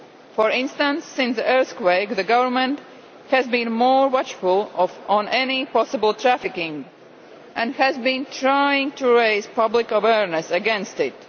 For instance, since the earthquake, the government has been more watchful of any possible trafficking and has been trying to raise public awareness against it.